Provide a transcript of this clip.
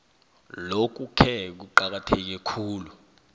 lokhuke kuqakatheke khulu